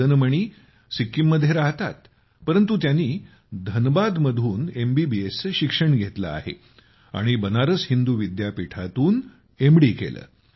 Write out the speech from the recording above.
मदन मणी सिक्कीममध्ये राहतात परंतु त्यांनी धनबादमधून एमबीबीएसचे शिक्षण घेतले आहे आणि बनारस हिंदू विद्यापीठातून एमडी केले